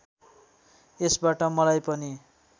यसबाट मलाई पनि